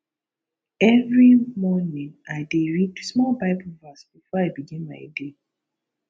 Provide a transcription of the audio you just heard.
every morning i dey read small bible verse before i begin my day